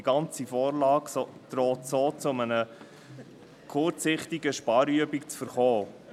Die ganze Vorlage droht so zu einer kurzsichtigen Sparübung zu verkommen.